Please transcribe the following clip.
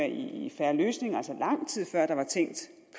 i en fair løsning altså lang tid før der var tænkt